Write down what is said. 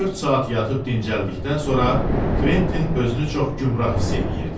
Dörd saat yatıb dincəldikdən sonra Kventin özünü çox gümrah hiss eləyirdi.